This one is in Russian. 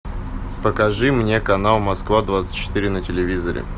покажи мне канал москва двадцать четыре на телевизоре